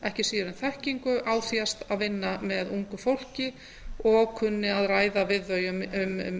ekki síður en þekkingu af því að vinna með ungu fólki og kunni að ræða við þau um